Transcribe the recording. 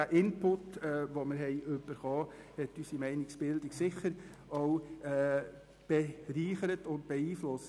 Diese Inputs haben unsere Meinungsbildung sicher bereichert und beeinflusst.